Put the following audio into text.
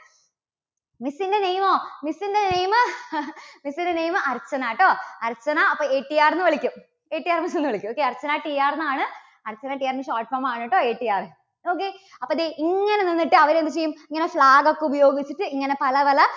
miss ന്റെ name Archana കേട്ടോ, അർച്ചന അപ്പോ ATR എന്ന് വിളിക്കും. ATR എന്ന് വിളിക്കൂട്ടോ. അർച്ചന TR എന്നാണ്. അർച്ചന TR ന്റെ short form ആണ് കേട്ടോ ATR. നോക്കിയേ അപ്പോൾ ദേ ഇങ്ങനെ നിന്നിട്ട് അവര് എന്ത് ചെയ്യും? ഇങ്ങനെ flag ഒക്കെ ഉപയോഗിച്ചിട്ട് ഇങ്ങനെ പല പല